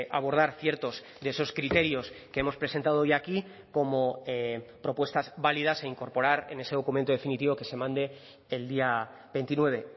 abordar ciertos de esos criterios que hemos presentado hoy aquí como propuestas válidas e incorporar en ese documento definitivo que se mande el día veintinueve